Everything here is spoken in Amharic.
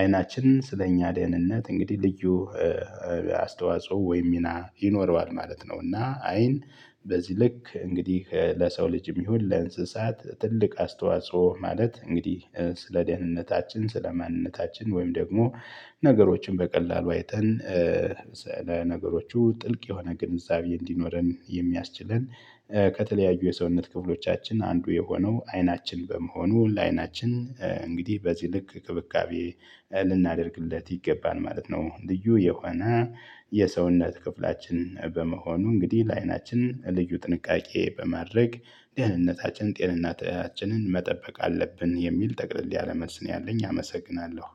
አይናችንን ስለእኛ ደህንነት እንግዲህ ልዩ አስተዋጽኦ ወይም ሚና ይኖረዋል ማለት ነው። እና አይን በዚህ ልክ እንግዲህ ለሰው ልጅም ይሁን ለእንስሳት ትልቅ አስተዋጽኦ ማለት እንግዲህ ስለ ደህንነታችን ስለ ማንነታችን ወይም ደግሞ ነገሮችን በቀላሉ አይተን ለነገሮቹ ጥልቅ የሆነ ግንዛቤ እንዲኖረን የሚያስችለን ከተለያዩ የሰውነት ክፍሎቻችን አንዱ የሆነው አይናችን በመሆኑ ለአይናችን እንግዲህ በዚህ ልክ እንክብካቤ ልናደርግለት ይገባል ማለት ነው። ልዩ የሆነ የሰውነት ክፍላችን በመሆኑ እንግዲህ ለአይናችን ልዩ ጥንቃቄ በማድረግ ደህንነታችን ጤንነታችንን መጠበቅ አለብን የሚል ጠቅልል ያለ መልስ ነው። ያለኝ አመሰግናለሁ